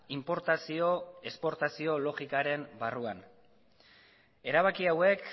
inportazio esportazio logikaren barruan erabaki hauek